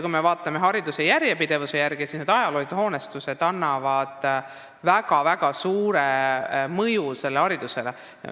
Kui me peame silmas hariduse järjepidevust, siis on selge, et nendel ajaloolistel hoonetel on väga-väga suur mõju haridusele.